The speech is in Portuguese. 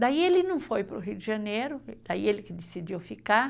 Daí ele não foi para o Rio de Janeiro, daí ele que decidiu ficar.